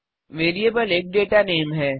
variable एक data name नाम है